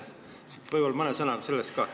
Võib-olla räägite mõne sõnaga sellest ka.